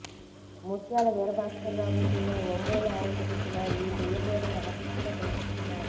ముత్యాల వీరభాస్కరరావుకు చెందిన ఒంగోలు ఆవుకు పుట్టిన ఈ పెయ్యదూడను ఆసక్తిగా తిలకిస్తున్నారు